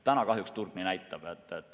Täna kahjuks turg nii näitab.